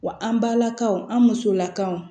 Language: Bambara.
Wa an balakaw an musolakaw